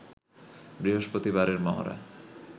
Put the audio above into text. বৃহস্পতিবারের মহড়া